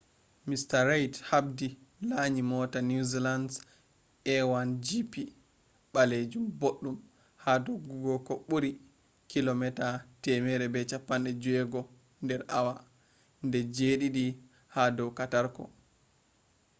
mr reid habdi laanyi moota new zealand’s a1gp balajum boddum haa doggugo ko buurii 160km/h de jediidi ha dow katarko